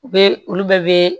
U bɛ olu bɛɛ bɛ